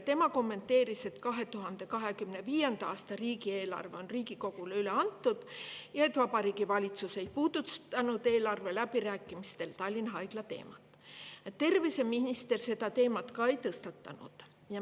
Tema kommenteeris, et 2025. aasta riigieelarve on Riigikogule üle antud ja et Vabariigi Valitsus ei puudutanud eelarve läbirääkimistel Tallinna Haigla teemat, terviseminister seda teemat ka ei tõstatanud.